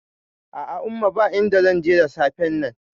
A'a umma, ba inda zanje da safen nan